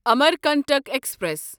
Amarkantak express